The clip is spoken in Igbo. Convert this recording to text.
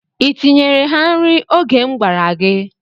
I tinyeere ha nri oge m gwara gị?